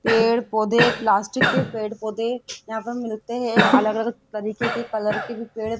पेड़ पौधे प्लास्टिक के पेड़ पौधे यहां पर मिलते हैं अलग अलग तरीके के कलर की भी पेड़--